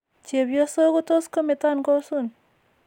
Cheebyosok ko tos' kometon kosun.